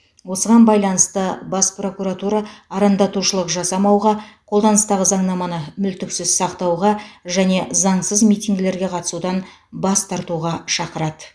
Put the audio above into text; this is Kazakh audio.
осыған байланысты бас прокуратура арандатушылық жасамауға қолданыстағы заңнаманы мүлтіксіз сақтауға және заңсыз митингілерге қатысудан бас тартуға шақырады